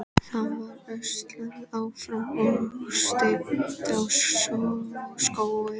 Það var öslað áfram og stefnt á Skógey.